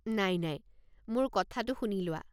নাই নাই, মোৰ কথাটো শুনি লোৱা।